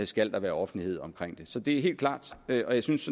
skal være offentlighed omkring det så det er helt klart og jeg synes